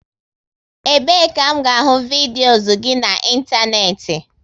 Ebe e ka m ga ahụ vidios gị na ịntanetị?